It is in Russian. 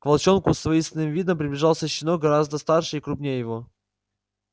к волчонку с воинственным видом приближался щенок гораздо старше и круггнее его